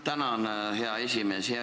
Tänan, hea esimees!